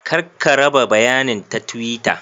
Kar ka raba bayanin ta twitter.